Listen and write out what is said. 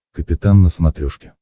капитан на смотрешке